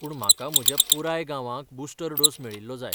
पूण म्हाका म्हज्या पुराय गांवाक बुस्टर डोस मेळिल्लो जाय.